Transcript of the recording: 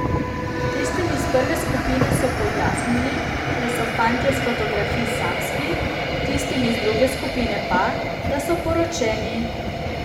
Tistim iz prve skupine so pojasnili, da so fantje s fotografij samski, tistim iz druge skupine pa, da so poročeni.